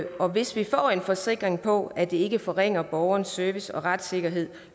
og hvis vi får en forsikring om at det ikke forringer borgerens service og retssikkerhed